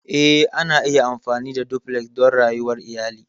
Eh, ana iya amfani da Duplex don rayuwar iyali.